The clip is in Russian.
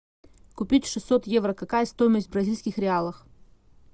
купить шестьсот евро какая стоимость в бразильских реалах